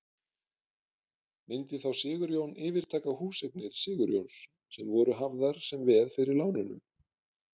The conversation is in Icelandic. Myndi þá Sigurjón yfirtaka húseignir Sigurjóns sem voru hafðar sem veð fyrir lánunum?